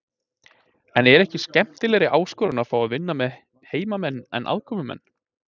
En er ekki skemmtilegri áskorun að fá að vinna með heimamenn en aðkomumenn?